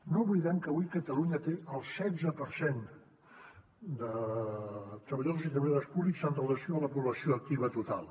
no oblidem que avui catalunya té el setze per cent de treballadors i treballadores públics amb relació a la població activa total